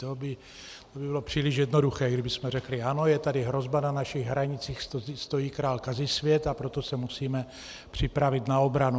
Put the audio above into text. To by bylo příliš jednoduché, kdybychom řekli ano, je tady hrozba, na našich hranicích stojí král Kazisvět, a proto se musíme připravit na obranu.